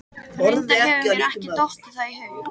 Reyndar hefur mér ekki dottið það í hug.